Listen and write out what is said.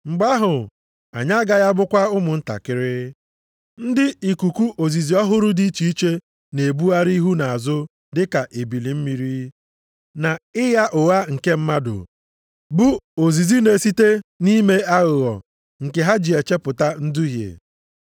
Mgbe ahụ anyị agaghị abụkwa ụmụntakịrị, ndị ikuku ozizi ọhụrụ dị iche iche na-ebugharị ihu na azụ dị ka ebili mmiri, na ịgha ụgha nke mmadụ, bụ ozizi na-esite nʼime aghụghọ nke ha ji echepụta nduhie.